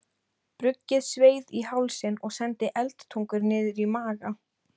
Bruggið sveið í hálsinn og sendi eldtungur niður í maga.